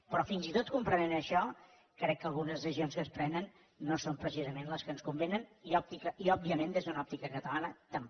però fins i tot comprenent això crec que algunes decisions que es prenen no són precisament les que ens convenen i òbviament des d’una òptica catalana tampoc